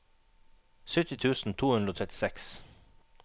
sytti tusen to hundre og trettiseks